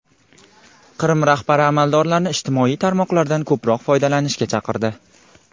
Qrim rahbari amaldorlarni ijtimoiy tarmoqlardan ko‘proq foydalanishga chaqirdi.